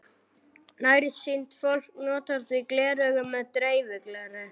Nærsýnt fólk notar því gleraugu með dreifigleri.